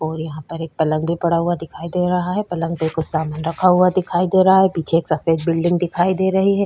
और यहाँ पर एक पलंग भी पड़ा हुआ दिखाई दे रहा है पलंग बिलकुल सामने रखा हुआ दिखाई दे रहा है पीछे एक सफ़ेद बिल्डिंग दिखाई दे रही है।